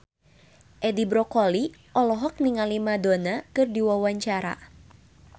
Edi Brokoli olohok ningali Madonna keur diwawancara